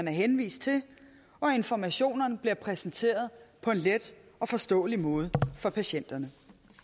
henvist til og at informationerne bliver præsenteret på en let og forståelig måde for patienterne